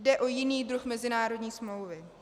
Jde o jiný druh mezinárodní smlouvy.